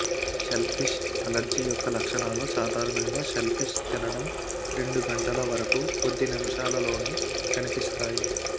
shellfish allergy యొక్క లక్షణాలు సాధారణంగా షెల్ఫిష్ తినడం రెండు గంటల వరకు కొద్ది నిమిషాలలోనే కనిపిస్తాయి